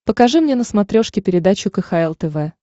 покажи мне на смотрешке передачу кхл тв